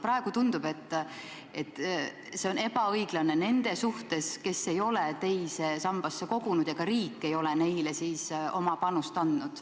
Praegu tundub, et see on ebaõiglane nende suhtes, kes ei ole teise sambasse kogunud ja ka riik ei ole neile oma panust andnud.